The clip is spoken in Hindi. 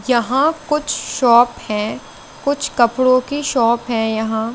यहाँं कुछ शॉप है कुछ कपड़ो की शॉप है यहाँं।